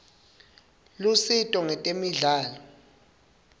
lusito ngetemidlalo